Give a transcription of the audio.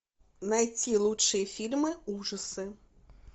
найти лучшие фильмы ужасы